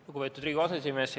Lugupeetud Riigikogu aseesimees!